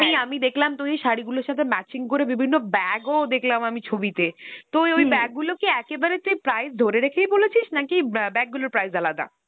এই আমি দেখলাম তুই ওই শাড়িগুলোর সাথে matching করে বিভিন্ন bag ও দেখলাম আমি ছবিতে তো ওই ওই bag গুলো কি একেবারে তুই price ধরে রেখে বলেছিস, নাকি অ্যাঁ bag গুলোর price আলাদা?